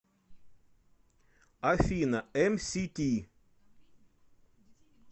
афина эмсити